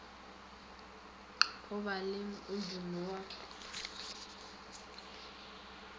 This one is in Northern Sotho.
go ba le modumo wa